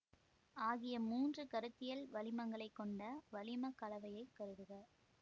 ஆகிய மூன்று கருத்தியல் வளிமங்களைக் கொண்ட வளிமக் கலவையைக் கருதுக